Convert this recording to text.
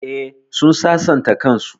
Eh, sun sasanta kan su